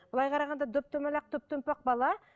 былай қарағанда доп домалақ топ томпақ бала